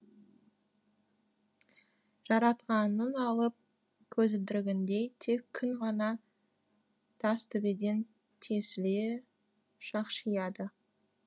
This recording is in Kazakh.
жаратқанның алып көзілдірігіндей тек күн ғана тастөбеден тесіле шақшияды